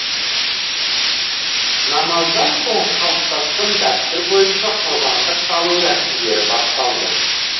намаздан соң қалыптасқан дәстүр бойынша құрбандық шалу рәсімдері басталды